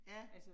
Ja